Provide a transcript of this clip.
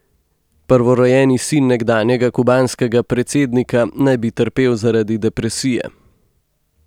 Prvorojeni sin nekdanjega kubanskega predsednika naj bi trpel zaradi depresije.